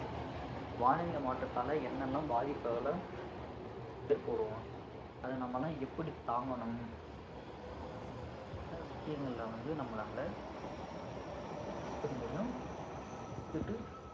அந்த வானிலை மாற்றத்தால என்னெல்லாம் பாதிப்புகள நமக்கு ஏற்படும் அத நம்மெல்லாம் எப்படி தாங்கணும் அப்படின்னுட்டு நம்மளால பல விஷயங்கள்ல வந்து நம்மளால நம்ம மத்தவங்களுக்கு கத்துக்க முடியும் நம்ம கத்துக்கிட்டு